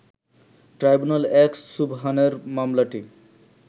ট্রাইব্যুনাল-১ সুবহানের মামলাটি